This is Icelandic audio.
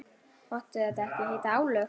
Máttu þetta ekki heita álög?